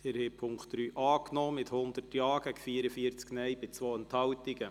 Sie haben die Ziffer 3 als Postulat angenommen mit 100 Ja- bei 44 Nein-Stimmen und 2 Enthaltungen.